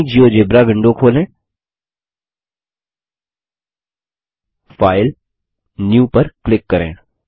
नई GeoGebra window खोलें file GTGT new पर क्लिक करें